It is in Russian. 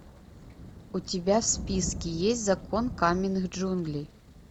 у тебя в списке есть закон каменных джунглей